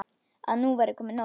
Að nú væri komið nóg.